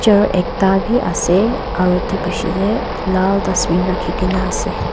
chair ekta bi ase aro edu la bishae tae lal dustbin rakhikae na ase.